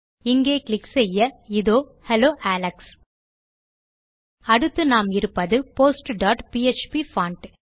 இங்கே கிளிக் செய்ய இதோ ஹெல்லோ அலெக்ஸ் அடுத்து நாம் இருப்பது postபிஎச்பி பான்ட்